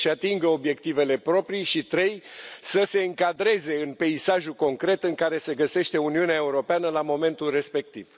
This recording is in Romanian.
să își atingă obiectivele proprii și 3. să se încadreze în peisajul concret în care se găsește Uniunea Europeană la momentul respectiv.